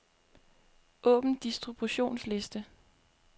Åbn distributionsliste.